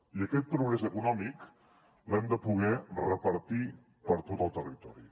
i aquest progrés econòmic l’hem de poder repartir per tot el territori